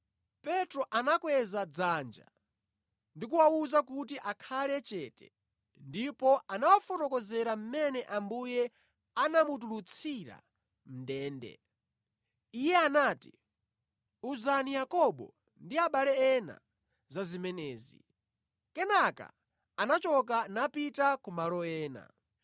Petro anakweza dzanja ndi kuwawuza kuti akhale chete ndipo anawafotokozera mmene Ambuye anamutulutsira mʼndende. Iye anati, “Uzani Yakobo ndi abale ena za zimenezi.” Kenaka anachoka napita kumalo ena.